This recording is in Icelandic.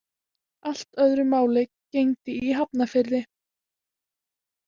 Allt öðru máli gegndi í Hafnarfirði.